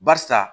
Barisa